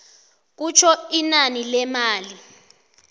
kutjho inani lemali